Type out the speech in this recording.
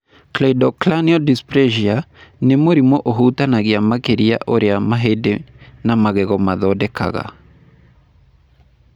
Cleidocranial dysplasia nĩ mũrimũ ũhutagia makĩria ũrĩa mahĩndĩ na magego mathondekaga.